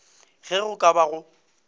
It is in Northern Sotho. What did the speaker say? ge go ka ba go